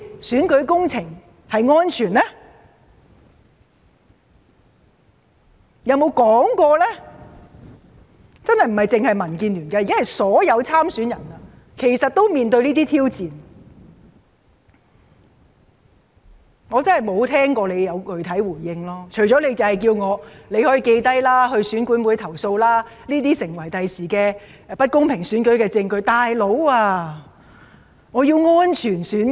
這真的並非只是民建聯的問題，現時是所有參選人也正面對這些挑戰，但我真的沒有聽過政府有作出任何具體回應，除了叫我們記錄下來向選管會投訴，指這些將會成為未來不公平選舉的證據外。